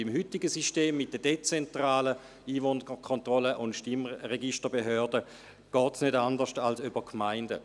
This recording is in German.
Beim heutigen System mit der dezentralen Einwohnerkontrolle und Stimmregisterbehörde geht es nicht anders als über die Gemeinden.